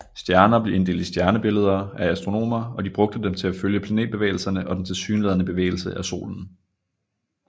Stjerner blev inddelt i stjernebilleder af astronomer og de brugte dem til følge planetbevægelserne og den tilsyneladende bevægelse af Solen